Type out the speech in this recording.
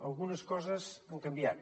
algunes coses han canviat